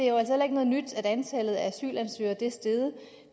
så antallet af asylansøgere er steget